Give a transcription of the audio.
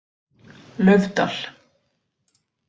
Laufdal